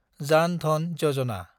जान धन यजना